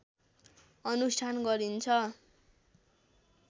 अनुष्ठान गरिन्छ